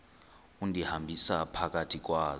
undihambisa phakathi kwazo